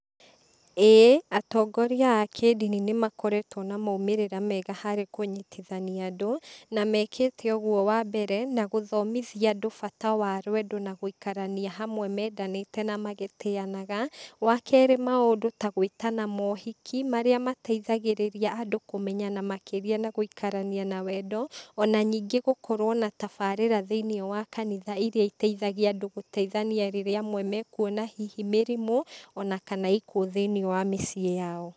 Ĩĩ, atongoria a kĩndini nĩmakoretwo na maumĩrĩra mega harĩ kunyitithania andũ, na mekĩte ũguo wambere, na gũthomithia andũ bata wa rwendo na gũikarania hamwe mendanĩte namagĩtĩanaga, wa kerĩ maũndũ ta gwĩtana mohiki, marĩa mateithagĩrĩria andũ kũmenyana makĩria na gũikarania na wendo, ona ningĩ gũkorwo na tabarĩra thĩiniĩ wa kanitha iria iteithagia andũ gũteithania rĩrĩa amwe mekuona hihi mĩrimũ, ona kana ikuo thĩiniĩ ya mĩciĩ yao.